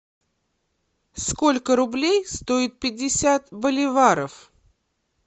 сколько рублей стоит пятьдесят боливаров